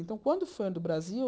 Então, quando o fã do Brasil...